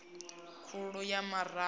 khulu ya mavhuru i no